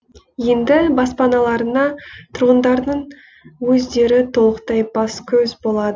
енді баспаналарына тұрғындардың өздері толықтай бас көз болады